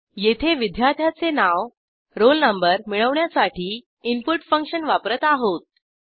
येथे विद्यार्थ्याचे नाव रोल नंबर मिळवण्यासाठी इनपुट फंक्शन वापरत आहोत